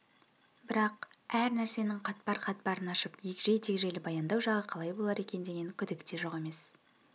бірақ әр нәрсенің қатпар-қатпарын ашып егжей-тегжейлі баяндау жағы қалай болар екен деген күдік те жоқ емес